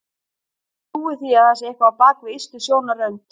Ég trúi því að það sé eitthvað á bak við ystu sjónarrönd.